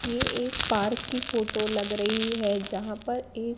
ये एक पार्क की फोटो लग रही है जहां पर एक--